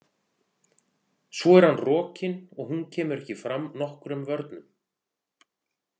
Svo er hann rokinn og hún kemur ekki fram nokkrum vörnum.